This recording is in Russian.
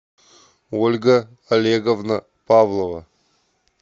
ольга олеговна павлова